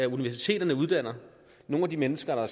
universiteterne uddanner nogle af de mennesker der